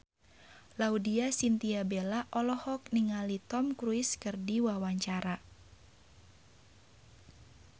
Laudya Chintya Bella olohok ningali Tom Cruise keur diwawancara